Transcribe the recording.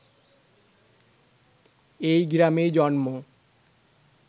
এই গ্রামেই জন্ম